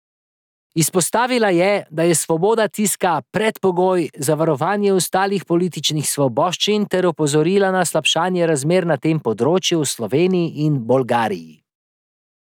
Izpostavila je, da je svoboda tiska predpogoj za varovanje ostalih političnih svoboščin ter opozorila na slabšanje razmer na tem področju v Sloveniji in Bolgariji.